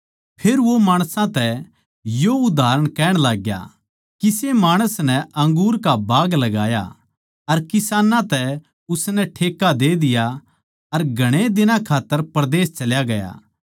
फेर वो माणसां तै यो उदाहरण कहण लाग्या किसे माणस नै अंगूर का बाग लगाया अर किसानां तै उसनै ठेक्का दे दिया अर घणे दिनां खात्तर परदेस चल्या गया